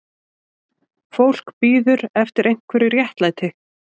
Fólk bíður eftir einhverju réttlæti